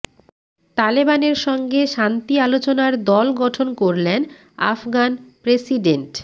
তালেবানের সঙ্গে শান্তি আলোচনার দল গঠন করলেন আফগান প্রেসিডেন্ট